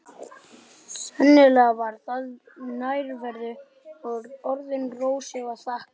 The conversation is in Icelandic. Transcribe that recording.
Sennilega var það nærveru og orðum Rósu að þakka.